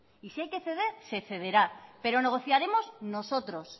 y si hay que ceder se cederá pero negociaremos nosotros